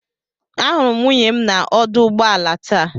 Ahụrụ m nwunye m na ọdụ ụgbọ ala taa.